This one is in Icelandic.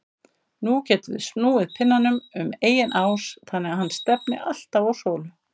Nú getum við snúið pinnanum um eigin ás þannig að hann stefni alltaf á sólu.